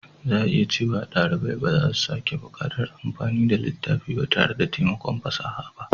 Za a iya cewa ɗalibai ba za su sake buƙatar amfani da littafi ba tare da taimakon fasaha ba.